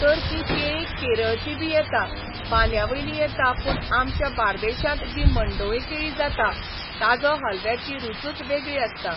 तर तीं केळीं केरळचीं बीं येता, बांंद्यावेलीं येता पूण आमच्या बार्देशांत जीं मंडोळीं केळीं जाता, ताजो हालव्याची रुचूच वेगळी आसता.